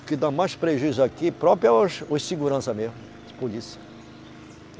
O que dá mais prejuízo aqui próprio é o, os segurança mesmo, a polícia.